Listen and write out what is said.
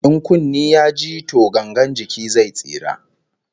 In kunne ya ji to gangar jiki zai tsira